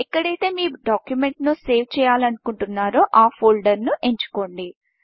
ఎక్కడైతే మీ డాక్యుమెంట్ను సేవ్ చేయాలనుకుంటున్నారో ఆ ఫోల్డర్ను ఎంచుకోండి